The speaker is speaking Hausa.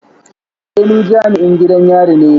Eh ni jami'in gidan yari ne